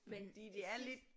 Fordi det er lidt